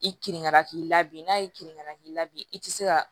I kirina k'i la bi n'a ye kirinan k'i la bi i ti se ka